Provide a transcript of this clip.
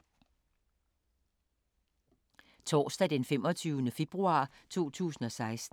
Torsdag d. 25. februar 2016